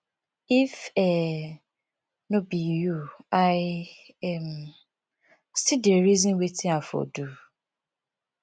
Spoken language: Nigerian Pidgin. if um no be you i um still dey reason wetin i for do